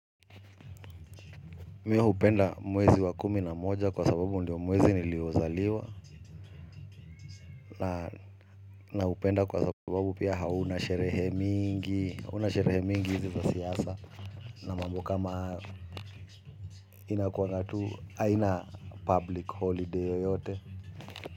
Mi hupenda mwezi wa kumi na moja kwa sababu ndio mwezi niliozaliwa. Naupenda kwa sababu pia hauna sherehe mingi hauna sherehe mingi hizi zasiasa na mambo kama hayo ina kuagatu aina public holiday yoyote.